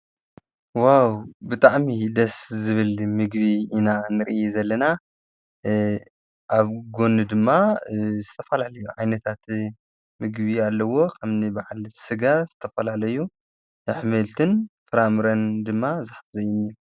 ዋው ብጥዕሚ ደስ ዝብል ምግቢ ኢና ንርኢ ዘለና ኣብ ጐኑ ድማ ዝተፈላለዩ ዓይነታት ምግቢ ኣለዎ ።ኸምኒበዓል ሥጋ ዝተፈላለዩ ኣኅሜልትን ፍራምረን ድማ ዙሕፍ ዘይኒእ